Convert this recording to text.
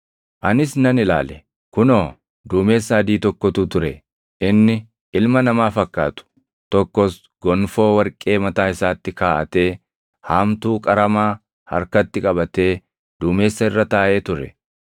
Anis nan ilaale; kunoo, duumessa adii tokkotu ture; inni “ilma namaa fakkaatu” + 14:14 \+xt Dan 7:13\+xt* tokkos gonfoo warqee mataa isaatti kaaʼatee, haamtuu qaramaa harkatti qabatee duumessa irra taaʼee ture.